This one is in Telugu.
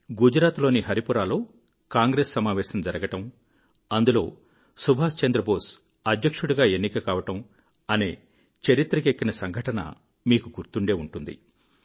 గుజరాత్ లోని హరిపురాలో కాంగ్రెస్ సమావేశం జరగడం అందులో సుభాశ్ చంద్రబోస్ అధ్యక్షుడుగా ఎన్నిక కావడం అనే చరిత్రకెక్కిన సంఘటన మీకు గుర్తుండే ఉంటుంది